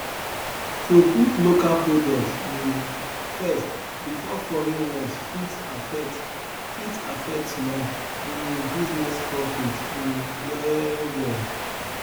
to put local products um first before foreign ones fit affect fit affect small um business profit um well well